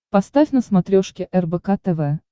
поставь на смотрешке рбк тв